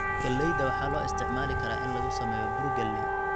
Galleyda waxaa loo isticmaali karaa in lagu sameeyo bur galley.